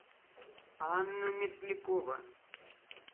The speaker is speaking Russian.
анна мерзлякова